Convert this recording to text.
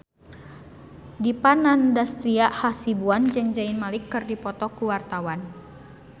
Dipa Nandastyra Hasibuan jeung Zayn Malik keur dipoto ku wartawan